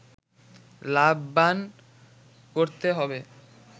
লাভবান করতে হবে